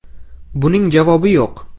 Buning javobi yo‘q.